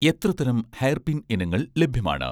എത്ര തരം hair pin ഇനങ്ങൾ ലഭ്യമാണ്?